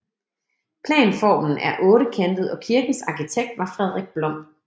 Planformen er ottekantet og kirkens arkitekt var Fredrik Blom